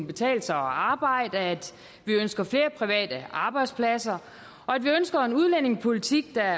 betale sig at arbejde at vi ønsker flere private arbejdspladser at vi ønsker en udlændingepolitik der